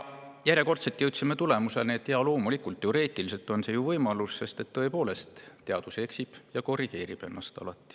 Järjekordselt jõudsime tulemuseni, et jaa, loomulikult, teoreetiliselt on see võimalik, sest tõepoolest ka teadus eksib ja siis alati korrigeerib ennast.